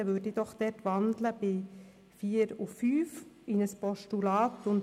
Deshalb wandle ich die Ziffern 4 und 5 in ein Postulat um.